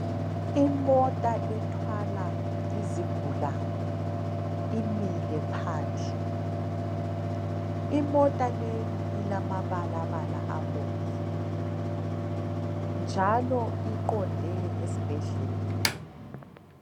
Imota ethwala izigulane imile phandle, imota leyi ilamabalabala abomvu njalo iqonde esibhedlela.